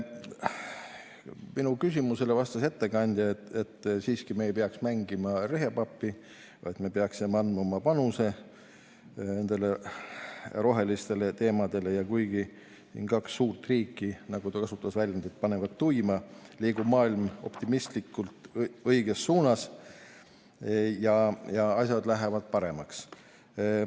Minu küsimusele vastas ettekandja, et me siiski ei peaks mängima rehepappi, vaid me peaksime andma oma panuse nendesse rohelistesse teemadesse ja kuigi kaks suurt riiki, nagu ta väljendas, panevad tuima, liigub maailm optimistlikult õiges suunas ja asjad lähevad paremaks.